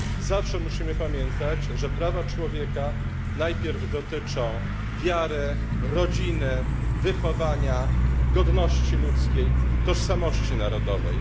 Zawsze musimy pamiętać, że prawa człowieka najpierw dotyczą wiary, rodziny, wychowania, godności ludzkiej, tożsamości narodowej.